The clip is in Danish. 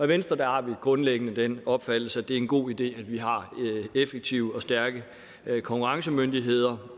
venstre har vi grundlæggende den opfattelse at det er en god idé at vi har effektive og stærke konkurrencemyndigheder